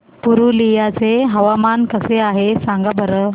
पुरुलिया चे हवामान कसे आहे सांगा बरं